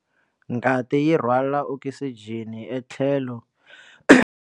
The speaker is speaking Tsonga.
Ngati yi rhwala okisijeni etlhelo.